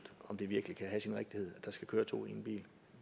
om det virkelig kan have sin rigtighed at der skal køre to i en bil